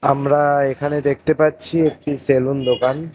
আমরা এখানে দেখতে পাচ্ছি একটি সেলুন দোকান।